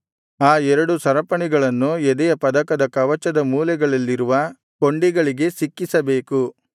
ಆ ಎರಡು ಸರಪಣಿಗಳನ್ನು ಎದೆಯ ಪದಕದ ಕವಚದ ಮೂಲೆಗಳಲ್ಲಿರುವ ಕೊಂಡಿಗಳಿಗೆ ಸಿಕ್ಕಿಸಬೇಕು